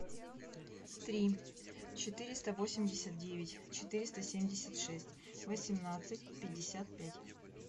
три четыреста восемьдесят девять четыреста семьдесят шесть восемнадцать пятьдесят пять